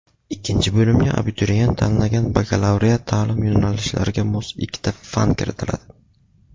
ikkinchi bo‘limga – abituriyent tanlagan bakalavriat taʼlim yo‘nalishlariga mos ikkita fan kiritiladi.